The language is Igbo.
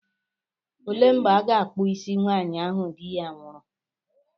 Olee mgbe a ga-akpụ isi nwaanyị ahụ di ya nwụrụ?